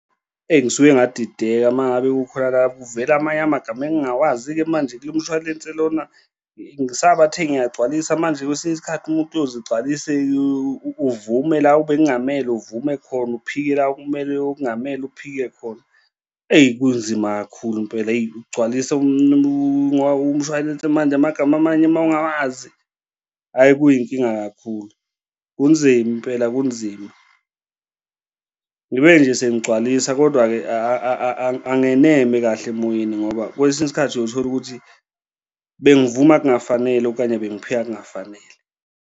Engisuke ngadideka uma ngabe kukhona la kuvela amanye amagama engingawazi-ke manje kulo mshwalense lona ngisabathe ngiyagcwalisa manje kwesinye isikhathi umuntu uyoze egcwalise uvume la ebekungamele uvume khona uphike la okumele uphike khona, eyi kunzima kakhulu impela eyi, ukugcwalisa umshwalense manje amagama amanye uma ungawazi, hhayi, kuyinkinga kakhulu, kunzima impela kunzima. Ngibe nje sengigcwalisa, kodwa-ke angeneme kahle emoyeni ngoba kwesinye isikhathi uyothola ukuthi bengivumba kungafanele okanye bengiphika kungafanele.